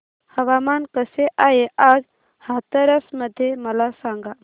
हवामान कसे आहे आज हाथरस मध्ये मला सांगा